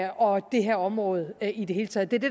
og det her område i det hele taget det er det